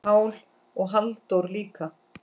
Pál og Halldór líka.